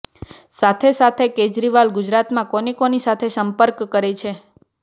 સાથેસાથે કેજરીવાલ ગુજરાતમાં કોની કોની સાથે સંપર્ક કરે છે